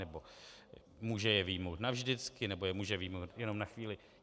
Nebo může je vyjmout navždycky, nebo je může vyjmout jenom na chvíli?